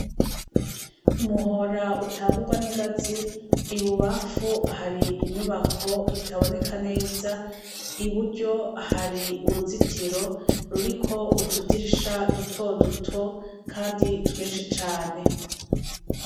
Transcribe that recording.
Ku muhora utangurwa n'ingazi. Ibubamfu hari inyubako itaboneka neza, iburyo hari uruzitiro ruriko utudirisha duto duto kandi twinshi cane.